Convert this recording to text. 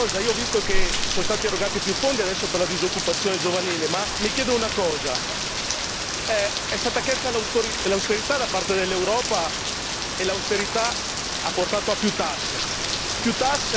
Devo dirvi un'altra cosa, io ho visto che sono stati erogati più fondi, adesso, per la disoccupazione giovanile, ma mi chiedo una cosa è stata chiesta l'austerità da parte dell'Europa e l'austerità ha portato a più tasse